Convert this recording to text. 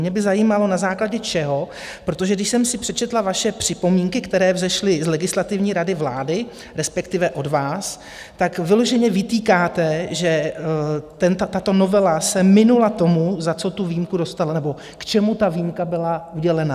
Mě by zajímalo, na základě čeho, protože když jsem si přečetla vaše připomínky, které vzešly z Legislativní rady vlády, respektive od vás, tak vyloženě vytýkáte, že tato novela se minula tomu, za co tu výjimku dostala, nebo k čemu ta výjimka byla udělena.